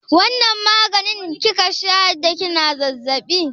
Wanna maganin kika sha da kina zazzaɓi?